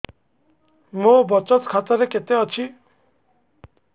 ମୋ ବଚତ ଖାତା ରେ କେତେ ଅଛି